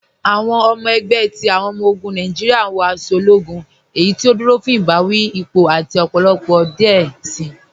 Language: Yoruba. Awọn ọmọ ẹgbẹ ti awọn ọmọ-ogun Nàìjíríà wọ aṣọ ológún, eyí tí ó dúró fún ibàwí, ípò, àti ọpọlọpọ díẹ̀ sí.